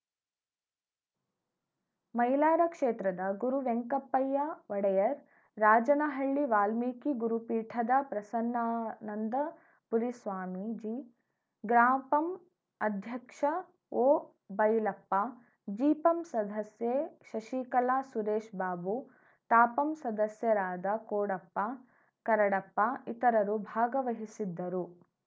ಮೈಲಾರ ಕ್ಷೇತ್ರದ ಗುರುವೆಂಕಪ್ಪಯ್ಯ ಒಡೆಯರ್‌ ರಾಜನಹಳ್ಳಿ ವಾಲ್ಮೀಕಿ ಗುರುಪೀಠದ ಪ್ರಸನ್ನಾನಂದ ಪುರಿ ಸ್ವಾಮೀಜಿ ಗ್ರಾಪಂ ಅಧ್ಯಕ್ಷ ಒಬೈಲಪ್ಪ ಜಿಪಂ ಸದಸ್ಯೆ ಶಶಿಕಲಾ ಸುರೇಶ್ ಬಾಬು ತಾಪಂ ಸದಸ್ಯರಾದ ಕೋಡಪ್ಪ ಕರಡಪ್ಪ ಇತರರು ಭಾಗವಹಿಸಿದ್ದರು